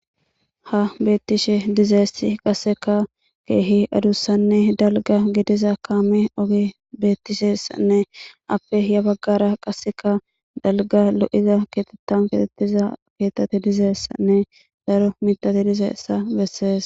Ha beetishe dizayssi qasseka keehi adussanne dalgga gidiza kaame oge betesiyassanne aape ya baggara qasseka dalgga lo'iza keetha keexetiza keethati dizayssanne daro miththati dizayssa bessees.